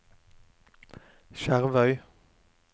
Skjervøy